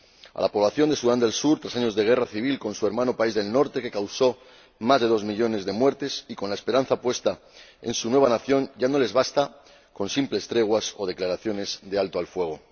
A la población de Sudán del Sur, tras años de una guerra civil con su hermano país del norte que causó más de dos millones de muertes y con la esperanza puesta en su nueva nación, ya no le basta con simples treguas o declaraciones de alto el fuego.